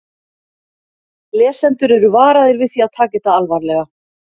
Lesendur eru varaðir við því að taka þetta alvarlega.